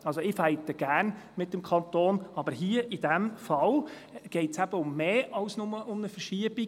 Ich kämpfe gerne mit dem Kanton, aber hier im vorliegenden Fall geht es um mehr als nur um eine Verschiebung.